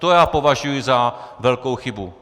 To já považuju za velkou chybu.